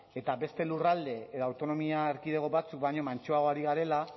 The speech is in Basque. eta beste lurralde eta autonomia erkidego batzuk baino mantsoago ari garela